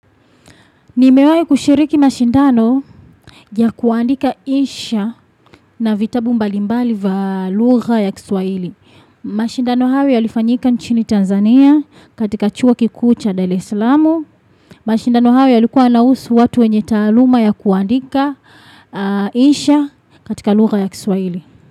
Nimewahi kushiriki mashindano ya kuandika insha, na vitabu mbalimbali vya lugha ya kiswahili. Mashindano hawe yalifanyika nchini Tanzania, katika chuo kikuu cha Dar es Salaam. Mashindano hayo yalikuwa yanahusu watu wenye taaluma ya kuandika insha, katika lugha ya kiswaili.